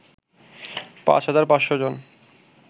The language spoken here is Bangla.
৫৫০০ জন